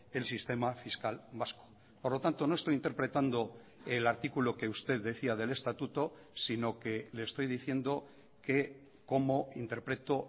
el sistema fiscal vasco por lo tanto no estoy interpretando el artículo que usted decía del estatuto sino que le estoy diciendo que cómo interpreto